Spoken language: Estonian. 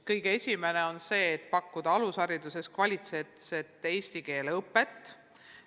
Kõige esimene on see, et pakkuda alushariduses kvaliteetset eesti keele õpet.